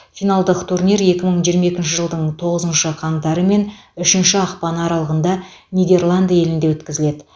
финалдық турнир екі мың жиырма екінші жылдың тоғызыншы қаңтары мен үшінші ақпаны аралығында нидерланды елінде өткізіледі